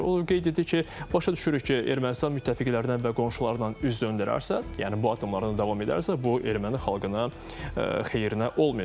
O qeyd etdi ki, başa düşürük ki, Ermənistan müttəfiqlərindən və qonşularından üz döndərərsə, yəni bu addımlarına davam edərsə, bu erməni xalqına xeyrinə olmayacaq.